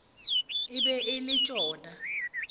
e be e le tšona